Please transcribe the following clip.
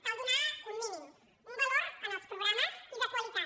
cal donar un mínim un valor als programes i de qualitat